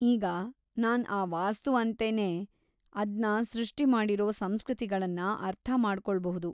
ಈಗ ನಾನ್‌ ಆ ವಾಸ್ತು ಅಂತೆನೇ ಅದ್ನ ಸೃಷ್ಟಿಮಾಡಿರೋ ಸಂಸೃತಿಗಳನ್ನ ಅರ್ಥ ಮಾಡಿಕೊಳ್ಬೌದು.